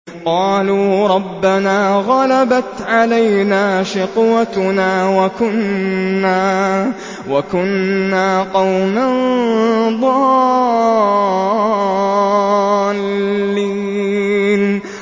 قَالُوا رَبَّنَا غَلَبَتْ عَلَيْنَا شِقْوَتُنَا وَكُنَّا قَوْمًا ضَالِّينَ